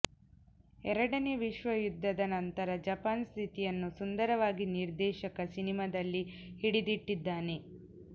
ಎರಡನೇ ವಿಶ್ವಯುದ್ಧದ ನಂತರ ಜಪಾನ್ ಸ್ಥಿತಿಯನ್ನು ಸುಂದರವಾಗಿ ನಿರ್ದೇಶಕ ಸಿನಿಮಾದಲ್ಲಿ ಹಿಡಿದಿಟ್ಟಿದ್ದಾನೆ